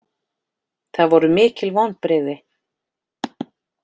Það voru mikil vonbrigði